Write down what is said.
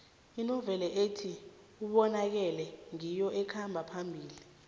inoveli ethi ubonakele ngiyo ekhamba phambili